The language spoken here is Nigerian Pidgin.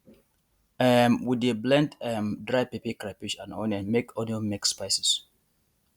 um we dey blend um dry pepper crayfish and onion make onion make spices